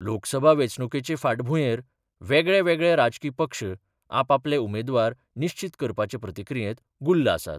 लोकसभा वेंचणुकेचे फाटभुंयेर वेगळेवेगळे राजकी पक्ष आपआपले उमेदवार निश्चीत करपाचे प्रक्रियेत गुल्ल आसात.